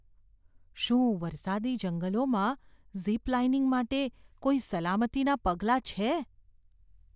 શું વરસાદી જંગલોમાં ઝિપ લાઇનિંગ માટે કોઈ સલામતીનાં પગલાં છે?